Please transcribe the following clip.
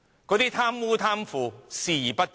它對貪污、貪腐視而不見。